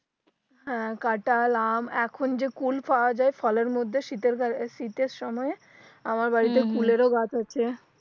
হ্যাঁ কাঁঠাল আম এখন যে কুল পাওয়া যায় ফলের মধ্যে শীতের সময়ে আমার হু হু বাড়িতে কুলেরও গাছ আছে